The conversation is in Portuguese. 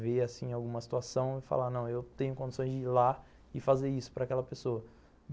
ver, assim, alguma situação e falar, não, eu tenho condições de ir lá e fazer isso para aquela pessoa.